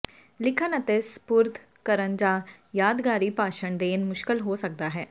ਲਿਖਣ ਅਤੇ ਸਪੁਰਦ ਕਰਨ ਜਾਂ ਯਾਦਗਾਰੀ ਭਾਸ਼ਣ ਦੇਣਾ ਮੁਸ਼ਕਲ ਹੋ ਸਕਦਾ ਹੈ